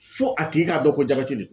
Fo a tigi k'a dɔn ko jabɛti de don.